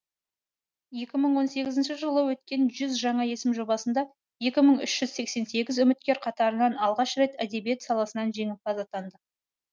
екі мың он сегізінші жылы өткен жүз жаңа есім жобасында екі мың үш жүз сексен сегіз үміткер қатарынан алғаш рет әдебиет саласынан жеңімпаз атанды